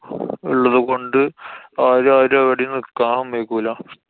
ഇള്ളതുകൊണ്ട് ആരേം ആരേം എവിടേം നിക്കാന്‍ സമ്മതിക്കൂല.